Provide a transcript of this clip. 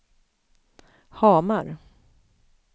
Hamar